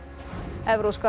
evrópska